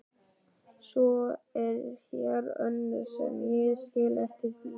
Svo er hér önnur sem ég skil ekkert í.